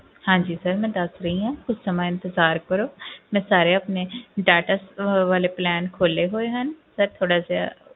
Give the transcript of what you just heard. ਹਾਂਜੀ sir ਮੈਂ ਦੱਸ ਰਹੀ ਹਾਂ ਕੁਛ ਸਮਾਂ ਇੰਤਜ਼ਾਰ ਕਰੋ ਮੈਂ ਸਾਰੇ ਆਪਣੇ data ਅਹ ਵਾਲੇ plan ਖੋਲੇ ਹੋਏ ਹਨ sir ਥੋੜ੍ਹਾ ਜਿਹਾ,